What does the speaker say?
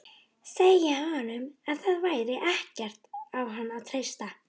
Segja honum að það væri ekkert á hann að treysta.